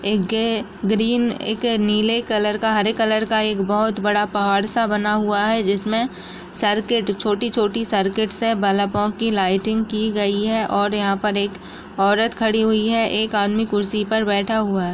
एक ग्रीन एक नीले कलर का हरे कलर का एक बहोत बड़ा पहाड़ सा बना हुआ है जिसमें सर्किट छोटी-छोटी सर्किट से बलपो की लाइटिंग की गई है और यहां पर एक औरत खड़ी हुई है एक आदमी कुर्सी पर बैठा हुआ है।